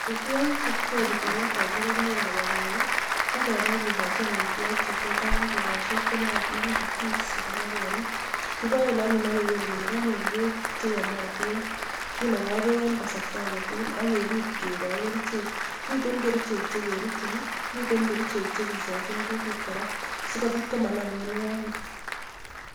Amitwagik chetesei rurunetab ingokaik ab panyek, ko kepai keko hi amitwagik che kialedoi eng tukoshek chenoatin ko feeds kiboen anyun ak keker kele kanyor bek cheyomatin. Kinagoi bek eng kasarta age tugul akenokoi kerichek. Miten kerichek chekerutchin , miten kerichek che kisachin kutit kora , sikobit komanam mianwogik.